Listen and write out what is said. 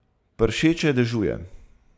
Pršeče dežuje.